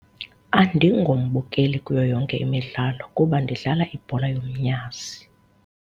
Andingombukeli kuyo yonke imidlalo kuba ndidlala ibhola yomnyazi.